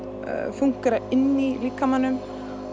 fúnkera inni í líkamanum